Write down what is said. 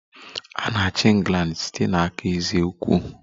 A na-achị England site n'aka eze ukwu